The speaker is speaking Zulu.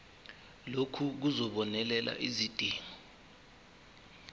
lokhu kuzobonelela izidingo